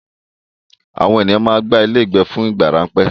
Àwọn ènìyàn máa ń gba ilé ìgbé fún ìgbà ráńpẹ́.